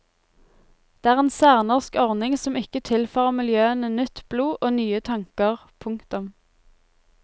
Det er en særnorsk ordning som ikke tilfører miljøene nytt blod og nye tanker. punktum